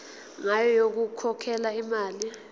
ngayo yokukhokhela imali